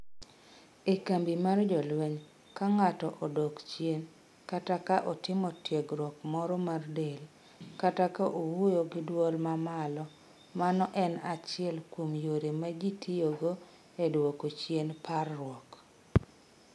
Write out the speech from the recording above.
"E kambi mar jolweny, ka ng'ato odok chien, kata ka otimo tiegruok moro mar del, kata ka owuoyo gi dwol ma malo, mano en achiel kuom yore ma ji tiyogo e duoko chien parruok.